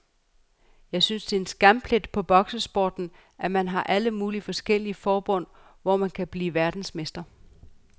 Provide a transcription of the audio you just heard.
Jeg synes det er en skamplet for boksesporten, at man har alle mulige forskellige forbund, hvor man kan blive verdensmester.